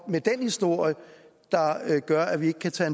med den historie gør at vi ikke kan tage